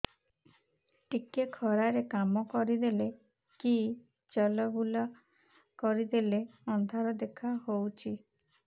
ଟିକେ ଖରା ରେ କାମ କରିଦେଲେ କି ଚଲବୁଲା କରିଦେଲେ ଅନ୍ଧାର ଦେଖା ହଉଚି